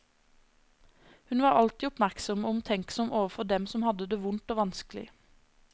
Hun var alltid oppmerksom og omtenksom overfor dem som hadde det vondt og vanskelig.